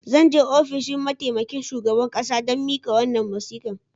Zan je ofishin mataimakin shugaban kasa don mika wannan wasika.